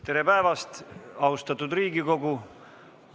Tere päevast, austatud Riigikogu!